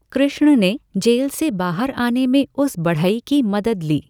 कृष्ण ने जेल से बाहर आने में उस बढ़ई की मदद ली।